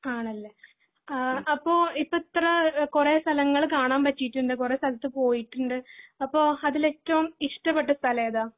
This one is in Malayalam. ആണല്ലേ ആഹ് അപ്പൊ ഇപ്പൊ ഇത്ര കൊറേ സ്ഥലങ്ങള് കാണാൻ പറ്റിയിട്ട്ണ്ട് കൊറേ സ്ഥലങ്ങൾ പോയിട്ടുണ്ട് അപ്പൊ അതിലേറ്റവും ഇഷ്ടപ്പെട്ട സ്ഥലം ഏതാ?